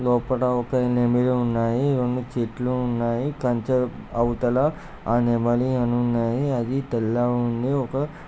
లోపట ఒక నెమలి ఉన్నాయి. రెండు చెట్లు ఉన్నాయి. కంచె అవుతల ఆ నెమలి అన్నీ ఉన్నాయి అది తెల్లగా ఉంది. ఒక--